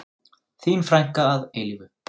Þín frænka að eilífu.